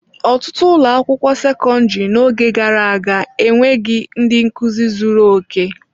Ọtụtụ ụlọ akwụkwọ sekọndrị n'oge gara aga enweghị ndị nkuzi zuru oke.